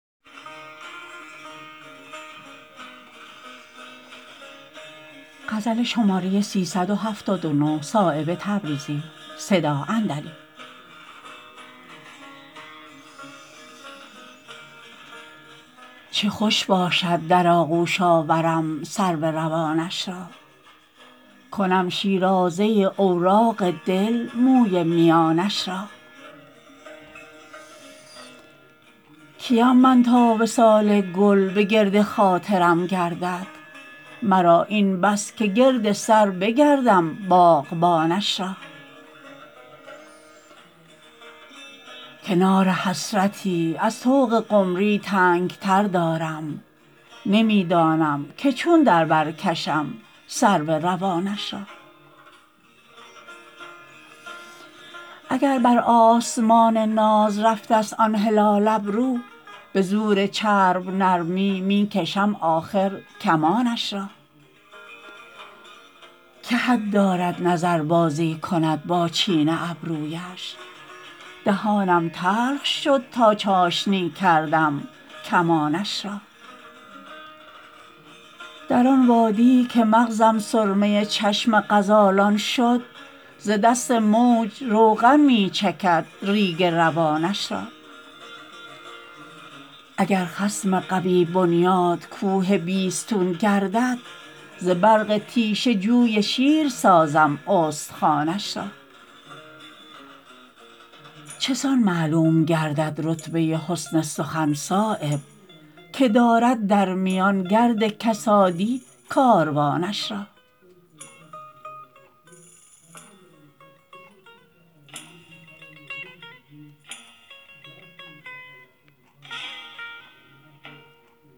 چه خوش باشد در آغوش آورم سرو روانش را کنم شیرازه اوراق دل موی میانش را کیم من تا وصال گل به گرد خاطرم گردد مرا این بس که گرد سر بگردم باغبانش را کنار حسرتی از طوق قمری تنگتر دارم نمی دانم که چون در بر کشم سرو روانش را اگر بر آسمان ناز رفته است آن هلال ابرو به زور چرب نرمی می کشم آخر کمانش را که حد دارد نظر بازی کند با چین ابرویش دهانم تلخ شد تا چاشنی کردم کمانش را در آن وادی که مغزم سرمه چشم غزالان شد ز دست موج روغن می چکد ریگ روانش را اگر خصم قوی بنیاد کوه بیستون گردد ز برق تیشه جوی شیر سازم استخوانش را چسان معلوم گردد رتبه حسن سخن صایب که دارد در میان گرد کسادی کاروانش را